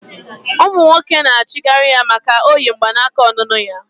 Umu nwoke na achighari ya maka na oyi mgbanaka onunu ya